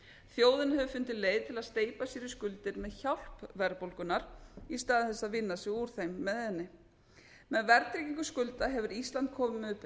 þjóðin hefur fundið leið til að steypa sér í skuldir með hjálp verðbólgunnar í stað þess að vinna sig úr þeim með henni með verðtryggingu skulda hefur ísland komið upp